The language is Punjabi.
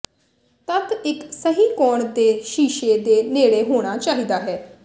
ਤੱਤ ਇਕ ਸਹੀ ਕੋਣ ਤੇ ਸ਼ੀਸ਼ੇ ਦੇ ਨੇੜੇ ਹੋਣਾ ਚਾਹੀਦਾ ਹੈ